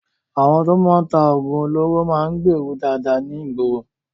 Àwọn tí wọ́n ń ta oògùn olóró máa ń gbèèrú dáadáa ní ìgboro.